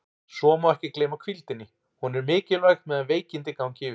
Svo má ekki gleyma hvíldinni, hún er mikilvæg meðan veikindi ganga yfir.